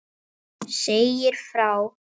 Segja frá.